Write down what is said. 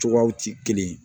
Cogoyaw ti kelen ye